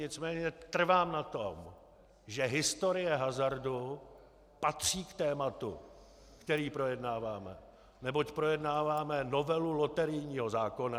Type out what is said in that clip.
Nicméně trvám na tom, že historie hazardu patří k tématu, které projednáváme, neboť projednáváme novelu loterijního zákona.